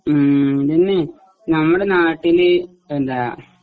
ഉം പിന്നെ ഞങ്ങടെ നാട്ടില് എന്താ